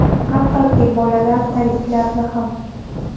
Hattoki, bolalar tagliklarini ham.